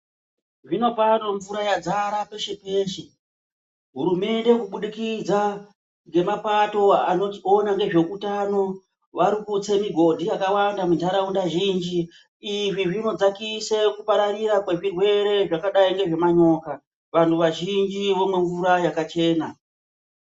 Zvinopano mvura yadzara peshe peshe hurumende kubudikidza ngemapato anoona ngezveutano varikutse migodhi yakawanda mundaraunda zhinji izvi zvinodzakisa kupararira kwezvirwere zvakadayi ngezvemanyoka vantu vazhinji vomwe mvura yakachena .